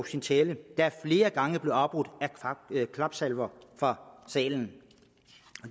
sin tale der flere gange blev afbrudt af klapsalver fra salen